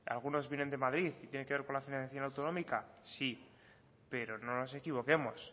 algunos vienen de madrid tienen que ver con la financiación autonómica sí pero no nos equivoquemos